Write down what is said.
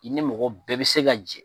I ni mɔgɔ bɛɛ bɛ se ka jɛ.